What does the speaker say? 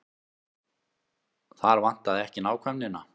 Þar vantaði ekki nákvæmnina.